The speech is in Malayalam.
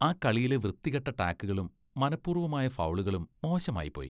ആ കളിയിലെ വൃത്തികെട്ട ടാക്കുകളും മനപ്പൂർവമായ ഫൗളുകളും മോശമായിപ്പോയി.